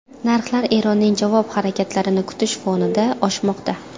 Narxlar Eronning javob harakatlarini kutish fonida oshmoqda.